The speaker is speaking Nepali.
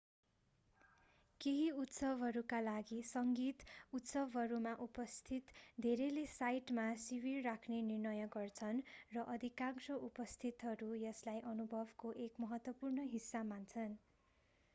केही उत्सवहरूका लागि सङ्गीत उत्सवहरूमा उपस्थित धेरैले साइटमा शिविर राख्ने निर्णय गर्छन् र अधिकांश उपस्थितहरू यसलाई अनुभवको एक महत्त्वपूर्ण हिस्सा मान्छन्